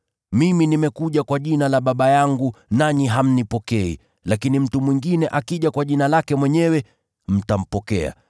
Mimi nimekuja kwa jina la Baba yangu, nanyi hamnipokei, lakini mtu mwingine akija kwa jina lake mwenyewe, mtampokea.